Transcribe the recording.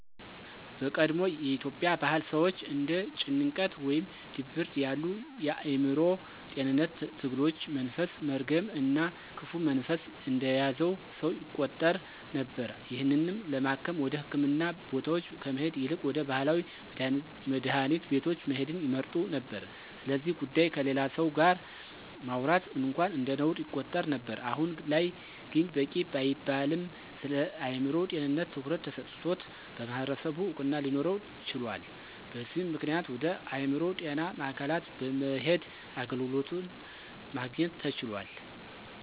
በቀድሞ የኢትዮጵያ ባህል ሰወች እንደ ጭንቀት ወይም ድብርት ያሉ የአዕምሮ ጤንነት ትግሎች መንፈስ፣ መርገም እና ክፉ መንፈስ እንደያዘው ሰው ይቆጠር ነበር። ይህንንም ለማከም ወደ ህክምና ቦታወች ከመሄድ ይልቅ ወደ ባህላዊ መድሀኒት ቤቶች መሄድን ይመርጡ ነበር። ስለዚ ጉዳይ ከሌላ ሰው ጋር ማውራት እንኳን እንደነውር ይቆጠር ነበር። አሁን ላይ ግን በቂ ባይባልም ስለአእምሮ ጤንነት ትኩረት ተሰጥቶት በማህበረሰቡ እውቅና ሊኖረው ችሏል። በዚም ምክንያት ወደ አእምሮ ጤና ማዕከላት በመሄድ አገልግሎትን ማግኘት ተችሏል።